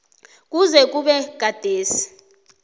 kuze kube gadesi